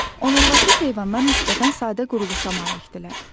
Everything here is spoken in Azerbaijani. Onurğasız heyvanlar nisbətən sadə quruluşa malikdirlər.